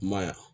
I ma ye wa